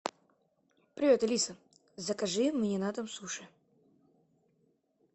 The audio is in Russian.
привет алиса закажи мне на дом суши